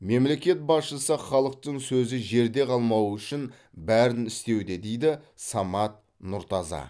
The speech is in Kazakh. мемлекет басшысы халықтың сөзі жерде қалмауы үшін бәрін істеуде дейді самат нұртаза